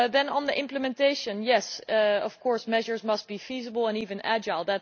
On the implementation yes, of course measures must be feasible and even agile.